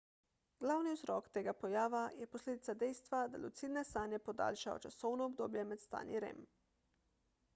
glavni vzrok tega pojava je posledica dejstva da lucidne sanje podaljšajo časovno obdobje med stanji rem